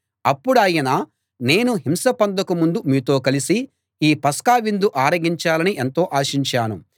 అప్పుడాయన నేను హింస పొందక ముందు మీతో కలిసి ఈ పస్కా విందు ఆరగించాలని ఎంతో ఆశించాను